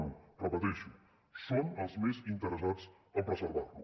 ho repeteixo són els més interessats en preservar lo